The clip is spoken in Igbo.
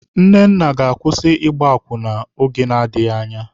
Nnenna ga-akwụsị ịgba akwụna oge na-adịghị anya.